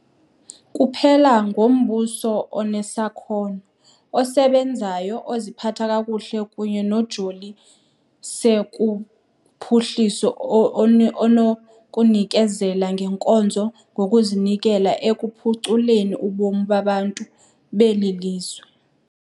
Kuphela ngumbuso onesakhono, osebenzayo, oziphatha kakuhle kunye nojoli se kuphuhliso onokunikezela ngeenkonzo ngokuzinikela ekuphuculeni ubomi babantu beli lizwe.